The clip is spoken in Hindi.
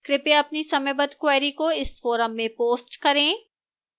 कृपया अपनी समयबद्ध queries को इस forum में post करें